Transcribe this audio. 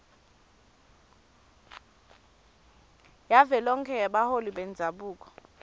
yavelonkhe yebaholi bendzabuko